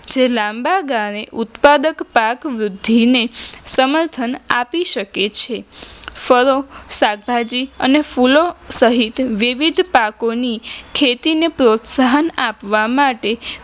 જે લાંબા ગાળે ઉત્પાદક પાક વૃદ્ધિને સમર્થન આપી શકે છે ફળો, શાકભાજી અને ફૂલો સહીત વિવિધ પાકોની ખેતી ને પ્રોત્સાહન આપવા માટે